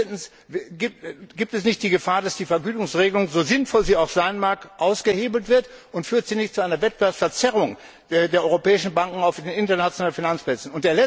Drittens Besteht nicht die Gefahr, dass die Vergütungsregelung so sinnvoll sie auch sein mag ausgehebelt wird, und führt sie nicht zu einer Wettbewerbsverzerrung für die europäischen Banken auf den internationalen Finanzplätzen?